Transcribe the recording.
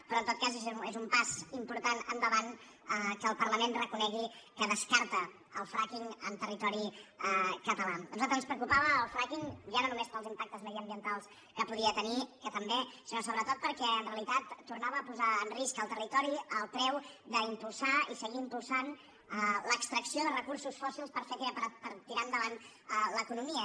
però en tot cas és un pas important endavant que el parlament reconegui que descarta el frackinga nosaltres ens preocupava el frackingpels impactes mediambientals que podia tenir que també sinó sobretot perquè en realitat tornava a posar en risc el territori al preu d’impulsar i seguir impulsant l’extracció de recursos fòssils per tirar endavant l’economia